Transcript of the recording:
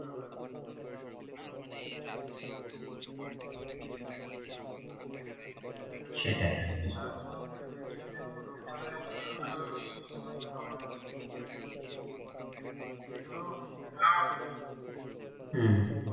সেটাই তার সঙ্গে বিভিন্ন রোগ বলাই বাড়ারও কারণ আছে তোমার খাবার সেগুলো এখন ভেজাল হম